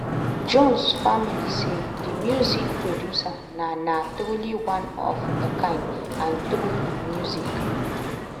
jones family say di music producer na na "truly one of a kind" and "through im music